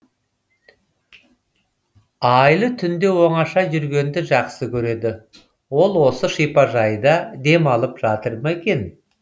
айлы түнде оңаша жүргенді жақсы көреді ол осы шипажайда демалып жатыр ма екен